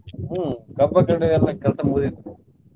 ಹ್ಮ್ ಕಬ್ಬ ಕಡಿಯೋದೆಲ್ಲ ಕೆಲ್ಸ ಮುಗಿದಿದೆ.